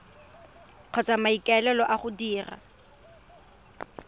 kgotsa maiteko a go dira